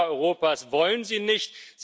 Die Völker Europas wollen sie nicht.